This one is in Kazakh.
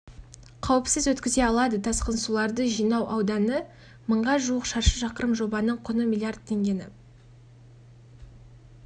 қауіпсіз өткізе алады тасқын суларды жинау ауданы мыңға жуық шаршы шақырым жобаның құны миллиард теңгені